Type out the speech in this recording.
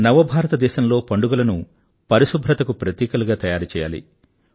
నవభారతదేశంలో పండుగలను పరిశుభ్రతకు ప్రతీకలుగా తయారుచెయ్యాలి